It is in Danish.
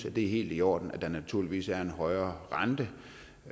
at det er helt i orden at der naturligvis er en højere rente